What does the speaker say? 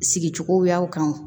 Sigicogoyaw kan wa